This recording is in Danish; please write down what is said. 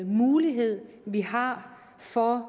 mulighed vi har for